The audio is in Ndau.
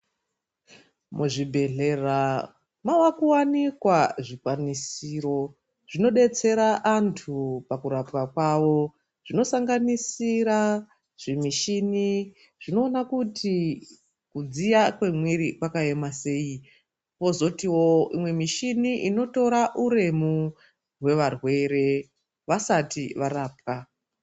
Mu zvibhehlera mwaku wanikwa zvikwanisiro zvino detsera antu pakurapwa kwavo zvino sanganisira zvi mushini zvinoona kuti kudziya kwe mwiri kwakaema sei kozotiwo imweni mishini inotora uremu hwe varwere vasati varapwa.